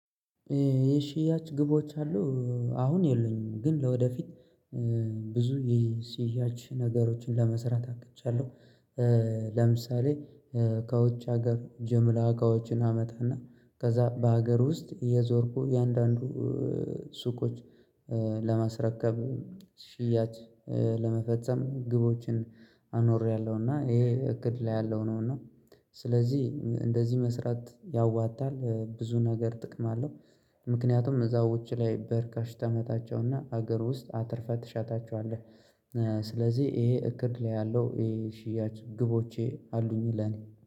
የሽያጭ ግቦች አሉ። አሁን የለኙም ግን ለወደፊት ብዙ የሽያጭ ነገሮችን ለመስራት አቅጃለሁ። ለምሳሌ ከውጭ ሀገር ጅምላ እቃዎችን አመጣና ከዛ በሀገር ውስጥ እየዞርኩ አያንዳንዱ ሱቆች ለማስረከብ ሽያጭ ለመፈጸም ግቦችን አኖሬያለሁ እና ይሄ እቅድ ላይ ያለው ነው። እና ስለዚህ እንደዚህ መስራት ያዋጣል ብዙ ነገር ጥቅም አለው። ምክንያቱም እዛው ውጪ ላይ በርካሽ ታመጣቸውና ሀገር ውስጥ አትርፈህ ትሸጣቸዋለህ። ስለዚህ ይሄ እቅድ ላይ ያለው ይሄ ሽያጭ ግቦቼ አሉኝ ለኔ